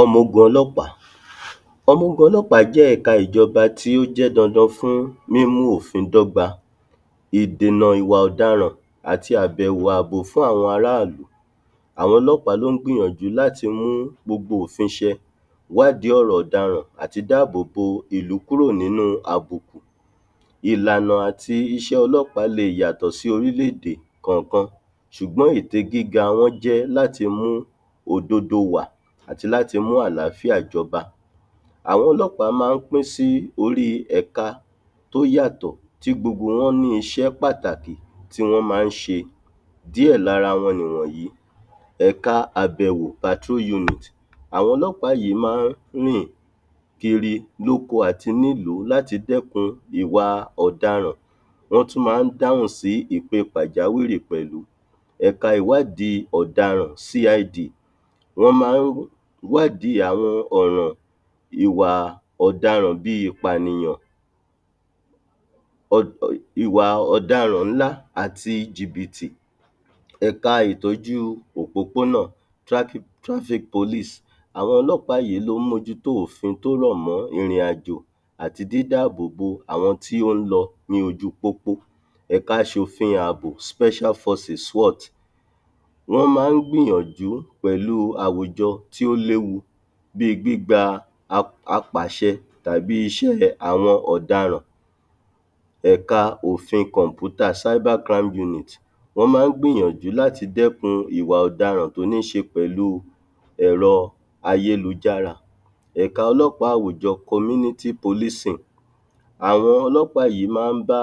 Ọmọ-ogun ọlọ́pàá Ọmọ-ogun ọlọ́pàá jẹ́ ẹ̀ka ìjọba tí ó jẹ́ dandan fún mímú òfin dọ́gba, ìdènà ìwà ọ̀daràn, àti àbẹ̀wo fún àwọn ará ìlú. Àwọn ọlọ́pàá ló ń gbìyànjú láti mú gbogbo òfin ṣẹ, wádìí ọ̀rọ̀ ọ̀daràn, àti dáàbòbò ìlú kúrò nínú àbùkù. Ìlànà àti iṣẹ́ ọlọ́pàá lè yàtọ̀ sí orílẹ̀-èdè kọ̀ọ̀kan ṣùgbọ́n ète gíga wọn jẹ́ láti mú òdodo wà àti láti mú àlàáfíà jọba. Àwọn ọlọ́pàá máa ń pín sí orí ẹ̀ka tó yàtọ̀ tí gbogbo wọn ní iṣẹ́ pàtàkì tí wọ́n máa ń ṣe. Díẹ̀ lára wọn ni wọnyìí Ẹ̀ka àbẹ̀wo Àwọn ọlọ́pàá yìí máa ń rìn kiri lóko àti nílùú láti dẹ́kun ìwà ọ̀daràn. Wọ́n tún máa ń dáhùn sí ìpe pàjáwìrì pẹ̀lú. Ẹ̀ka ìwádìí ọ̀daràn Wọ́n máa ń wádìí àwọn ọ̀ràn ìwà ọ̀daràn bí i ìpanìyàn, um ìwà ọ̀daràn ńlá, àti jìbìtì. Ẹ̀ka ìtọ́jú òpópónà Àwọn ọlọ́pàá yìí ló ń mójútó òfin tó rọ̀ mọ́ ìrìn-àjò àti dídá àbòbò àwọn tí ó ń lọ ní ojú pópó. Ẹ̀ka aṣòfin àbò Wọ́n máa ń gbìyànjú pẹ̀lú àwùjọ tí ó léwu bí gbígba apàṣẹ tàbí iṣẹ́ àwọn ọ̀daràn. Ẹ̀ka òfin kọ̀mpútà Wọ́n máa ń gbìyànjú láti dẹ́kun ìwà ọ̀daràn tó ní ṣe pẹ̀lú ẹ̀rọ ayélujára. Ẹ̀ka ọlọ́pàá àwùjọ Àwọn ọlọ́pàá yìí máa ń bá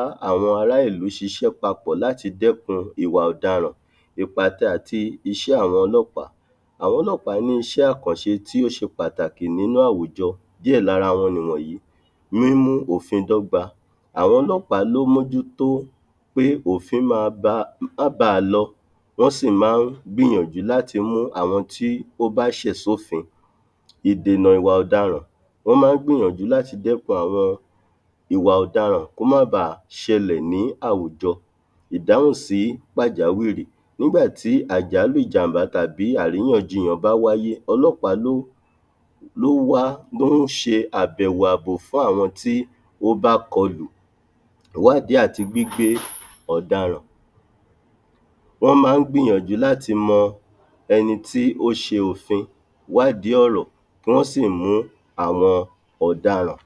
ará-ìlú ṣíṣe papọ̀ láti dẹ́kun ìwà ọ̀daràn Ìpàtẹ àti iṣẹ́ àwọn ọlọ́pàá Àwọn ọlọ́pàá ní iṣẹ́-àkànṣe tí ó ṣe pàtàkì nínú àwùjọ. Díẹ̀ lára wọn ni wọ̀nyí Mímú òfin dọ́gba Àwọn ọlọ́pàá ló ń mójútó pé òfin ma ba, ma bá a lọ, wọ́n sì máa ń gbìyànjú láti mú àwọn tí ó bá ṣẹ̀ sófin. Ìdènà ìwà ọ̀daràn Wọ́n máa ń gbìyànjú láti dẹ́kun àwọn ìwà ọ̀daràn kó máa ba ṣẹlẹ̀ ní àwùjọ. Ìdáhùn sí pàjáwìrì Nígbà tí àjálù ìjàmbá tàbí àríyànjiyàn bá wáyé, ọlọ́pàá ló wá, ló ṣe àbẹ̀wo àbò fún àwọn tí ó bá kọlù. Ìwádìí àti gbígbé ọ̀daràn Wọ́n máa ń gbìyànjú láti mọ ẹni tí ó ṣe òfin, wádìí ọ̀rọ̀, kán sì mú àwọn ọ̀daràn.